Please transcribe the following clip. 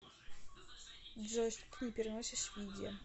джой что ты не переносишь в еде